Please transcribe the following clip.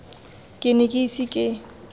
ke ne ke ise ke